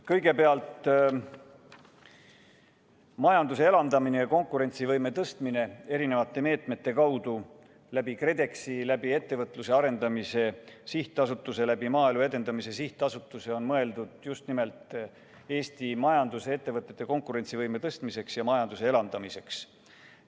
Kõigepealt, majanduse elavdamine ja konkurentsivõime tõstmine erinevate meetmete abil KredExi kaudu, Ettevõtluse Arendamise Sihtasutuse ja Maaelu Edendamise Sihtasutuse kaudu on mõeldud just nimelt Eesti ettevõtete konkurentsivõime tõstmiseks ja majanduse elavdamiseks.